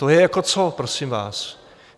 To je jako co, prosím vás?